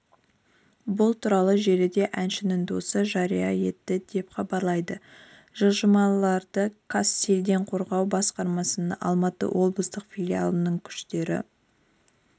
бұл туралы желіде әншінің досы жария етті деп хабарлайды жылжымаларды қазсельденқорғау басқармасының алматы облыстық филиалының күштері